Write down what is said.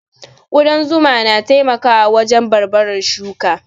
Ƙudan zuma na taimakawa wajen barbarar shuka